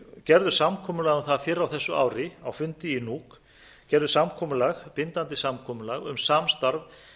gerðu samkomulag um það fyrr á þessu ári á fundi í nuuk gerðu bindandi samkomulag um samstarf